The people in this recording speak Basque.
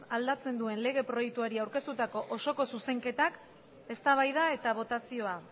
aldatzen duen lege proiektuari aurkeztutako osoko zuzenketak eztabaida eta botazioa